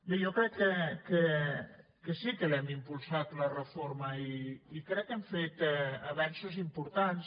bé jo crec que sí que l’hem impulsat la reforma i crec que hem fet avenços importants